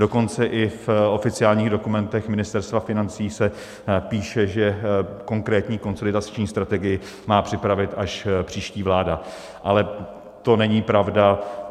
Dokonce i v oficiálních dokumentech Ministerstva financí se píše, že konkrétní konsolidační strategii má připravit až příští vláda, ale to není pravda.